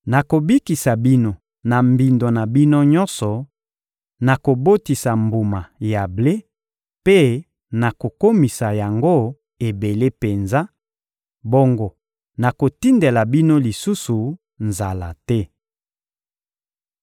Nakobikisa bino na mbindo na bino nyonso, nakobotisa mbuma ya ble mpe nakokomisa yango ebele penza; bongo nakotindela bino lisusu nzala te.